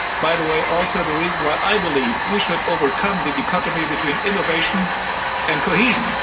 By the way, it is also the reason why I believe we should overcome the dichotomy between innovation and cohesion.